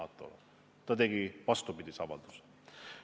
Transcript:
Ta ju tegi vastupidise avalduse.